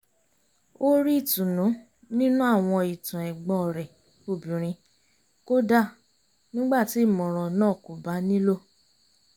ó rí ìtùnú nínú àwọn ìtàn ẹ̀gbọ́n rẹ̀ obìnrin kódà nígbà tí ìmọ̀ràn náà kò bá nílò